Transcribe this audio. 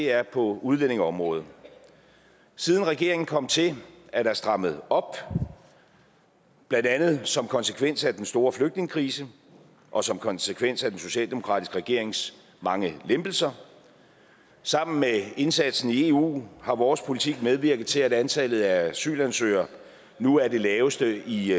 er på udlændingeområdet siden regeringen er kommet til er der strammet op blandt andet som konsekvens af den store flygtningekrise og som konsekvens af den socialdemokratiske regerings mange lempelser sammen med indsatsen i eu har vores politik medvirket til at antallet af asylansøgere nu er det laveste i